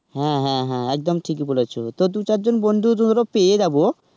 হ্যাঁ হ্যাঁ একদম ঠিকই বলেছ. দু -চার জন বন্ধু আমরা পেয়েই যাবো.